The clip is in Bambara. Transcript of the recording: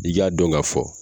I k'a dɔn k'a fɔ